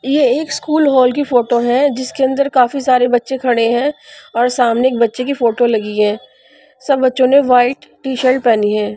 ये एक school hall की फोटो है जिसके अंदर काफी सारे बच्चे खड़े हैं और सामने एक बच्चे की फोटो लगी है सब बच्चों ने वाइट टीशर्ट पहनी है।